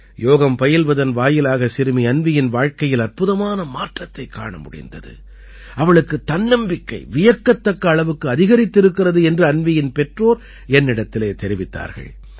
யோகம் பயில்வதன் வாயிலாக சிறுமி அன்வீயின் வாழ்க்கையில் அற்புதமான மாற்றத்தைக் காண முடிந்தது அவளுக்குத் தன்னம்பிக்கை வியக்கத்தக்க அளவுக்கு அதிகரித்திருக்கிறது என்று அன்வீயின் பெற்றோர் என்னிடத்திலே தெரிவித்தார்கள்